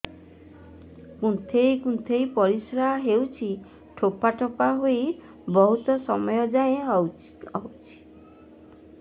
କୁନ୍ଥେଇ କୁନ୍ଥେଇ ପରିଶ୍ରା ହଉଛି ଠୋପା ଠୋପା ହେଇ ବହୁତ ସମୟ ଯାଏ ହଉଛି